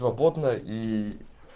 но потная и